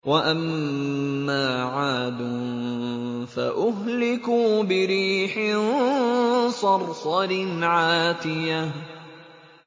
وَأَمَّا عَادٌ فَأُهْلِكُوا بِرِيحٍ صَرْصَرٍ عَاتِيَةٍ